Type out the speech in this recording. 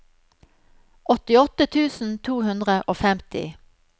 åttiåtte tusen to hundre og femti